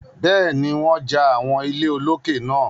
Bẹ́ẹ̀ni, wọ́n ja àwọn ilé olókè náà.